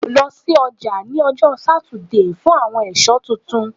Lọ si ọja ni ọjọ Satidee fun awọn eso tuntun